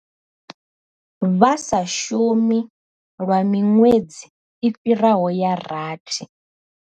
Vha sa shumi lwa miṅwedzi i fhiraho ya rathi.